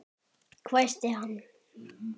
hvæsti hann.